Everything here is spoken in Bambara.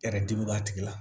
Yɛrɛ dimi b'a tigi la